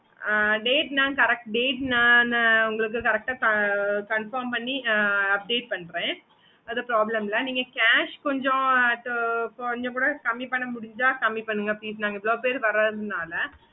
okay mam